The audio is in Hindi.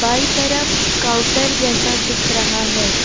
बाई तरफ काउंटर जैसा दिख रहा है।